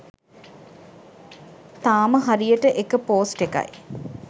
තාම හරියට එක පෝස්ට් එකයි